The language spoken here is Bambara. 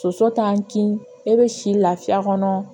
Soso t'an kin ne bɛ si lafiya kɔnɔ